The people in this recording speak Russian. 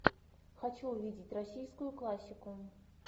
хочу увидеть российскую классику